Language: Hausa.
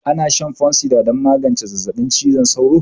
Ana shan fansidar don magance zazzabin cizon sauro